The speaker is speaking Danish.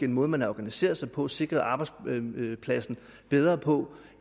en måde man har organiseret sig på sikret arbejdspladsen bedre på